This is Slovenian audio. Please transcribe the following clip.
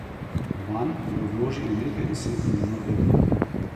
Vanj bodo vložili nekaj deset milijonov evrov.